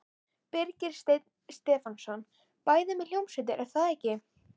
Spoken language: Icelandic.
Birgir Steinn Stefánsson: Bæði með hljómsveit er það ekki?